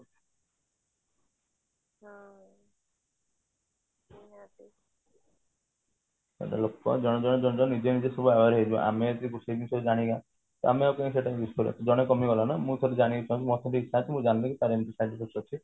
ଲୋକ ତ ଜଣେ ଜଣେ ନିଜେ ନିଜେ ସବୁ aware ହେଇଯିବେ ଆମେ ସେଇ ସବୁ ଜାଣିବା ତ ଆମେ ଆଉ ସେଇ ଜିନିଷ କାଇଁ ସେଟା କୁ use କରିବା ଜଣେ କମି ଗଲା ନା ମୁଁ ଥରେ ଜାଣିଲି